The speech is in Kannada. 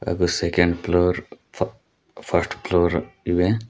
ಹಾಗು ಸೆಕೆಂಡ್ ಫ್ಲೋರ್ ಪ್ ಫಸ್ಟ್ ಫ್ಲೋರ್ ಇವೆ.